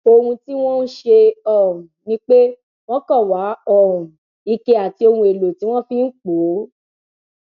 ohun tí wọn ń ṣe um ni pé wọn kàn wá um ike àti ohun èèlò tí wọn fi ń pọ ọ